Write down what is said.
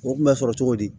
O kun bɛ sɔrɔ cogo di